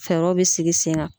Fɛɛrɛ bɛ sigi sen kan.